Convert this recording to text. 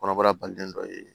Kɔnɔbara balilen dɔ ye